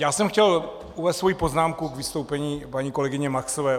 Já jsem chtěl uvést svoji poznámku k vystoupení paní kolegyně Maxové.